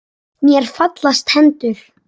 Mér fallast hendur.